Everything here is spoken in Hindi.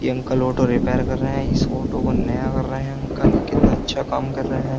ये अंकल ऑटो रिपेयर कर रहे हैं। इस ऑटो को नया कर रहे हैं अंकल ये कितना अच्छा काम कर रहे हैं।